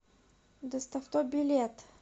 доставто билет